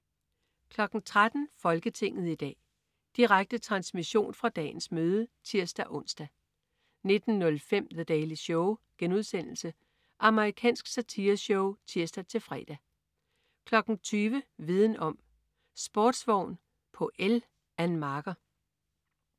13.00 Folketinget i dag. Direkte transmission fra dagens møde (tirs-ons) 19.05 The Daily Show.* Amerikansk satireshow (tirs-fre) 20.00 Viden om: Sportsvogn på el. Ann Marker